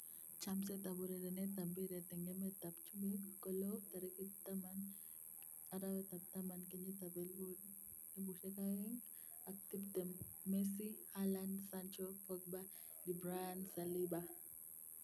Chomset ab urerenet ab mbiret eng emet ab chumbek kolo 10.10.2020:Messi, Haaland, Sancho, Pogba, De Bruyne, Saliba